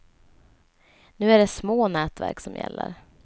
Nu är det små nätverk som gäller.